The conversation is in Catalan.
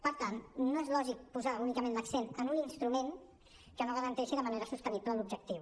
per tant no és lògic posar únicament l’accent en un instrument que no garanteixi de manera sostenible l’objectiu